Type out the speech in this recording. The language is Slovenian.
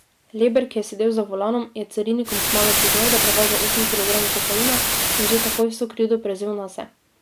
Leber, ki je sedel za volanom, je carinikom kmalu priznal, da prevaža osem kilogramov kokaina, in že takoj vso krivdo prevzel nase.